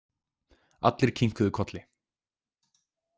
Allir kinkuðu kolli.